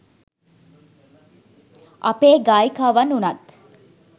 අපේ ගායිකාවන් වුණත්